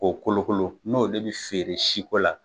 Ko kolokolo n'o de bi feere siko la